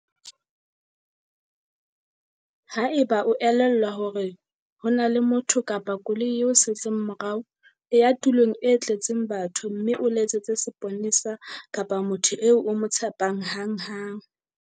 Haeba e o elellwa hore ho na le motho kapa koloi e o setseng morao, e ya tulong e tletseng batho mme o letsetse seponesa kapa motho eo o mo tshepang hanghang.